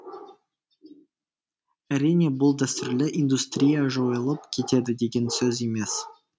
әрине бұл дәстүрлі индустрия жойылып кетеді деген сөз емес